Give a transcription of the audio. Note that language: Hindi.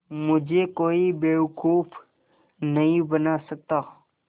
मुझे कोई बेवकूफ़ नहीं बना सकता